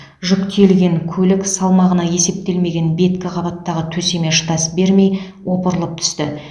жүк тиелген көлік салмағына есептелмеген беткі қабаттағы төсеме шыдас бермей опырылып түсті